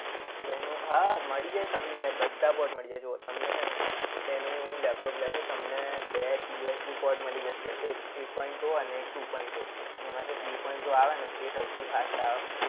Nano હા મળી જાય યાર તમને બધા ports મળી જાય. જો તમને છે ને લેનોવોનું લેપટોપ લેશો. તમને best USB port મળી જશે. એક three point o અને એક two point o. એમાં જે three point o આવે ને એ સૌથી fast આવે.